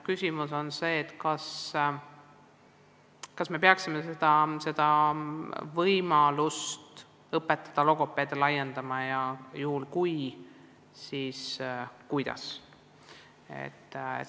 Küsimus on, kas me peaksime võimalust logopeede koolitada laiendama, ja kui me seda laiendame, siis kuidas.